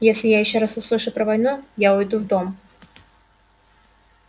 если я ещё раз услышу про войну я уйду в дом